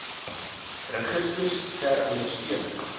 registers ter ondersteuning